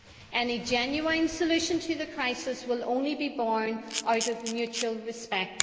Any genuine solution to the crisis will only be born out of mutual respect.